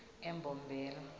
embombela